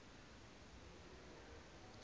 u aabe nakwi